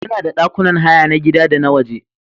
Muna da ɗakunan haya na gida da na waje.